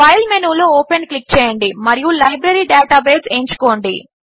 file మెనూలో open click చేయండి మరియు లైబ్రరీ డేటాబేస్ ఎంచుకోండి